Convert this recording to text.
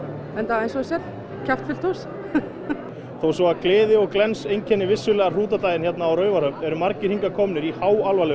eins og þú sérð kjaftfullt hús þó svo að gleði og glens einkenni vissulega Hrútadagadaginn hérna á Raufarhöfn eru margir hingað komnir í háalvarlegum